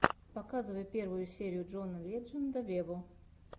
показывай первую серию джона ледженда вево